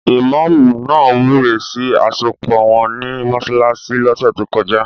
Ìmọ́ọ̀mù náà wúre sí àsopọ̀ wọn ní mọsálásí lọ́sẹ̀ tókọjá.